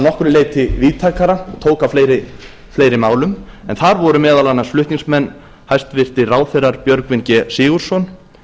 nokkru leyti víðtækara tók á fleiri málum en þar voru meðal annars flutningsmenn hæstvirtir ráðherrar björgvin g sigurðsson